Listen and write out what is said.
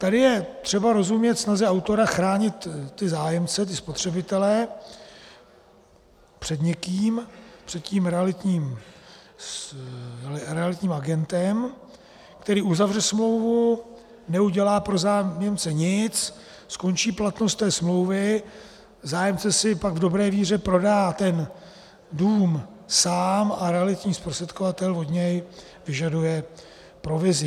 Tady je třeba rozumět snaze autora chránit ty zájemce, ty spotřebitele, před někým, před tím realitním agentem, který uzavře smlouvu, neudělá pro zájemce nic, skončí platnost té smlouvy, zájemce si pak v dobré víře prodá ten dům sám a realitní zprostředkovatel od něj vyžaduje provizi.